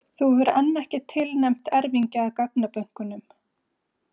Hún hefur enn ekki tilnefnt erfingja að gagnabönkunum.